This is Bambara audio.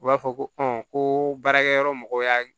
U b'a fɔ ko ko baarakɛ yɔrɔ mɔgɔw y'a